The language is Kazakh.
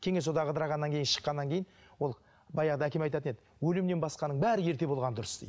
кеңес одағы ыдырағаннан кейін шыққаннан кейін ол баяғыда әкем айтатын еді өлімнен басқаның бәрі ерте болғаны дұрыс дейді